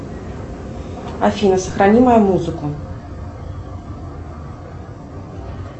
афина сохрани мою музыку